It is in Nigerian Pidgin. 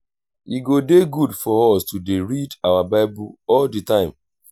e go dey good for us to dey read our bible all the time